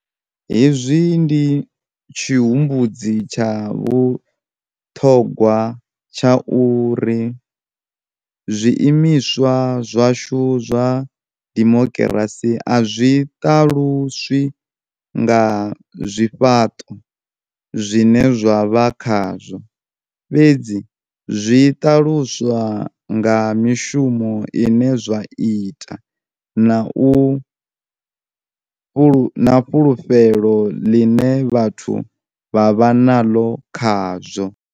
Hezwi ndi tshihumbudzi tsha vhuṱhogwa tsha uri zwiimiswa zwashu zwa dimokirasi a zwi ṱaluswi nga zwifhaṱo zwine zwa vha khazwo, fhedzi zwi ṱaluswa nga mishumo ine zwa ita na fulufhelo ḽine vhathu vha vha naḽo khazwo.